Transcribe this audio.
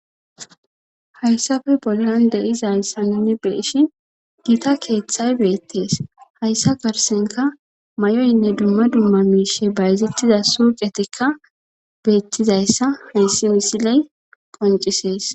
Hayssafe bollan deizayssa nunni beeshi giita keeththay beettees hayssa garsenka may7oynne dumma dumma miishe bayzettiza suucetikka beettizayssa hayssi misiley qoncisees.